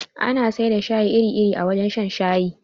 Ana sai da shayi iri iri a wajen shan shayi